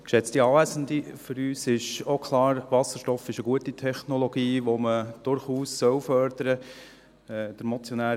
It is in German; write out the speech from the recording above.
Für uns ist auch klar, Wasserstoff ist eine gute Technologie, die man durchaus fördern soll.